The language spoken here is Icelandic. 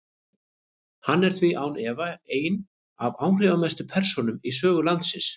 Hann er því án efa ein af áhrifamestu persónum í sögu landsins.